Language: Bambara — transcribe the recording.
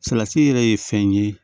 Salati yɛrɛ ye fɛn ye